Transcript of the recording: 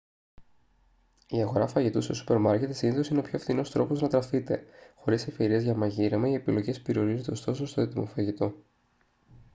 η αγορά φαγητού σε σούπερ μάρκετ συνήθως είναι ο πιο φθηνός τρόπος να τραφείτε χωρίς ευκαιρίες για μαγείρεμα οι επιλογές περιορίζονται ωστόσο στο έτοιμο φαγητό